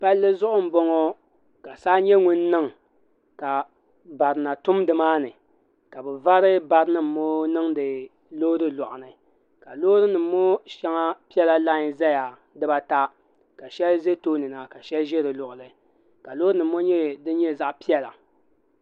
palli zuɣu n boŋɔ ka saa nyɛ ŋun niŋ ka barina tum dimaani ka bi vari barinim ŋɔ niŋdi loori loɣu maa ni ka loori nim ŋɔ shaŋa pela lai n zaya dibaa ata ka shɛli ʒi too ni na ka shɛli ʒɛ di luɣili ka loori nim ŋɔ nyɛ din nyɛ zaɣa piɛla